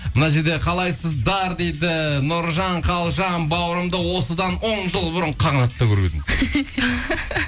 мына жерде қалайсыздар дейді нұржан қалжан бауырымды осыдан он жыл бұрын қағанатта көріп едім